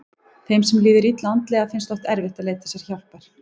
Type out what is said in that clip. Þeim sem líður illa andlega finnst oft erfitt að leita sér hjálpar.